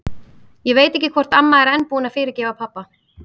Ég veit ekki hvort amma er enn búin að fyrirgefa pabba.